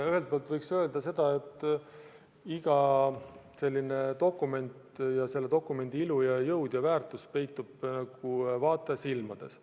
Ühelt poolt võiks öelda, et iga sellise dokumendi ilu ja jõud ja väärtus peitub vaataja silmades.